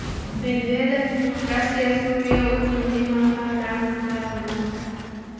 Medvedev: Rossiya Suriyada o‘z milliy manfaatlarini himoya qilmoqda.